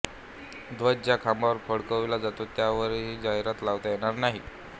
ध्वज ज्या खांबावर फडकविला जातो त्यावरही जाहिरात लावता येणार नाही